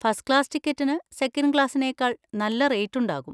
First class ടിക്കറ്റിന് second ക്ലാസ്സിനേക്കാൾ നല്ല റേറ്റ് ഉണ്ടാകും.